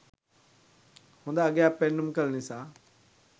හොඳ අගයක් පෙන්නුම් කළ නිසා